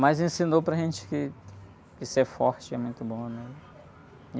Mas ensinou para a gente que, que ser forte é muito bom, né?